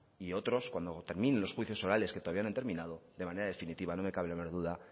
y otros cuando terminen en los juicios orales que todavía no han terminado de manera definitiva no me cabe la menor duda